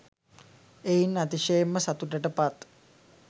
එයින් අතිශයෙන්ම සතුටට පත්